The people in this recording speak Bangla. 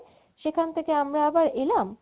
সেখান থেকে আমরা আবার এলাম